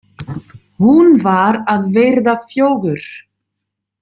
Hún var að verða fjögur.